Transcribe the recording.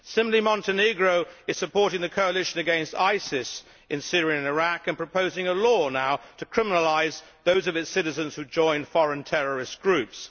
Similarly, Montenegro is supporting the coalition against ISIS in Syria and Iraq in proposing a law now to criminalise those of its citizens who join foreign terrorist groups.